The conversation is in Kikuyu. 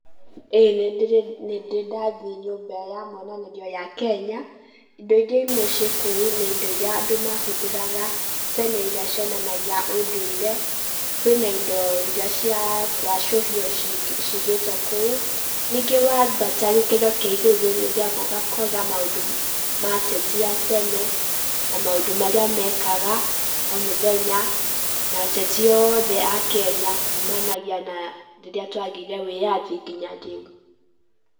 Ĩĩ nĩndĩ ndathiĩ nyũmba ya monanĩrio ya Kenya. Indo iria imwe ciĩ kũu nĩ indo iria andũ mahũthagĩra tene, iria cionanagia ũndũire, kwĩna indo iria cia gwacũhio cigĩtwo kũu, ningĩ wambata gĩkĩro kĩa igũrũ nĩũthiaga ũgakora maũndũ ma ateti a tene, na maũndũ marĩa mekaga o mũthenya, na ateti othe a Kenya kumanagia na rĩrĩa twagĩire wĩyathi nginya rĩu.